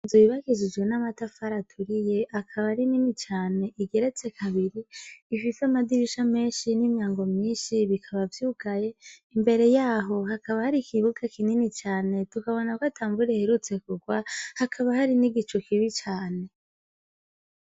Inzu yubakishijwe n' amatafar' ahiy' akab' arinini can' igeretse kabiri, ifis' amadirisha menshi n' imyango myinshi bikaba vyugaye, imbere yaho hakaba har' ikibuga kinini cane tukabona k' ata mvur' iherutse kugwa, hakaba hari n' igicu kibi cane.